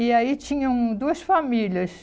E aí tinham duas famílias.